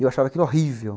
E eu achava aquilo horrível.